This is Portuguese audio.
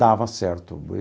Dava certo.